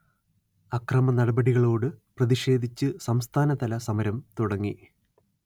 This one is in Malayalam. അക്രമനടപടികളോട് പ്രതിക്ഷേധിച്ച് സംസ്ഥാനതല സമരം തുടങ്ങി